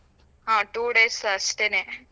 ಹಾ two days ಅಷ್ಟೇನೆ.